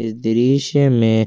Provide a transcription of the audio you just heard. इस दृश्य में